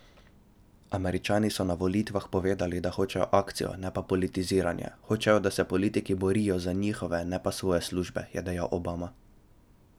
Američani so na volitvah povedali, da hočejo akcijo, ne pa politiziranje, hočejo, da se politiki borijo za njihove, ne pa svoje službe, je dejal Obama.